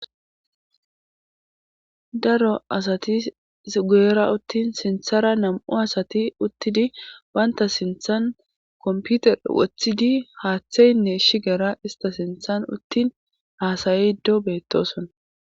daro asati guyera uttin sinthara nam7u asati uttidi baynta sinthan komputer woththidi haaththeynne shigera ista sinthan uttin haasaye ddo beettoson